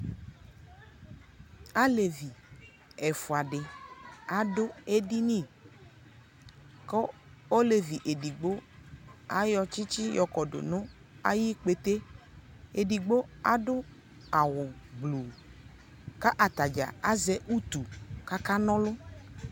Alevi ɛfua di adʋ edini kʋ olevi edigbo ayɔ tsitsi yɔkɔdʋ nʋ ayikpete Edigbo adʋ awʋ gbluu kʋ atadza azɛ utu kʋ akanɔlʋ